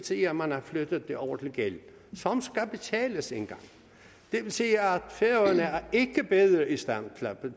sige at man har flyttet det over til gæld som skal betales engang og det vil sige at færøerne ikke er bedre i stand